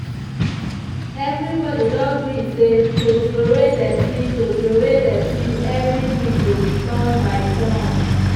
every body don gree say to troway dirty to troway dirty every week go be turn by turn.